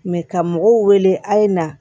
ka mɔgɔw wele a' ye na